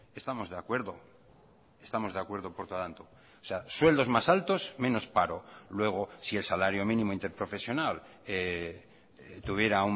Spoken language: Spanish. estamos de acuerdo estamos de acuerdo por lo tanto o sea sueldos más altos menos paro luego si el salario mínimo interprofesional tuviera